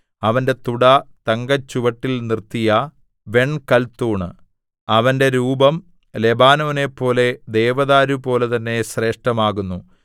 അവന്റെ തുട തങ്കച്ചുവട്ടിൽ നിർത്തിയ വെൺകൽത്തൂൺ അവന്റെ രൂപം ലെബാനോനെപ്പോലെ ദേവദാരുപോലെ തന്നെ ശ്രേഷ്ഠമാകുന്നു